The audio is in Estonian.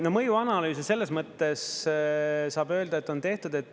No mõjuanalüüs selles mõttes saab öelda, et on tehtud.